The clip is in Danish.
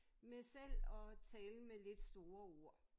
Med selv at tale med lidt store ord